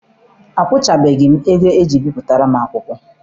Akwụchabeghị m ego eji bipụtara m akwụkwọ.